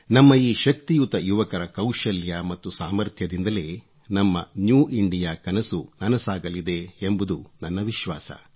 ನಮ್ಮ ಈ ಶಕ್ತಿಯುತ ಯುವಕರ ಕೌಶಲ್ಯ ಮತ್ತು ಸಾಮಥ್ರ್ಯದಿಂದಲೇ ನಮ್ಮ ನ್ಯೂ ಇಂಡಿಯಾಕನಸು ನನಸಾಗಲಿದೆ ಎಂಬುದು ನನ್ನ ವಿಶ್ವಾಸ